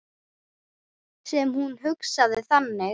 Sem hún hugsaði þannig.